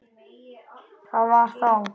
Það var þá.